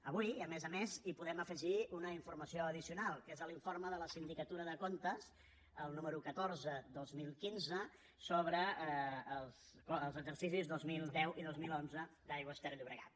avui a més a més hi podem afegir una informació addicional que és l’informe de la sindicatura de comptes el número catorze dos mil quinze sobre els exercicis dos mil deu i dos mil onze d’aigües ter llobregat